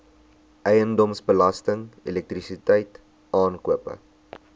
eiendomsbelasting elektrisiteit aankope